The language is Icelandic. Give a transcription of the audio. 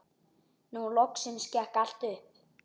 Nú loksins gekk allt upp.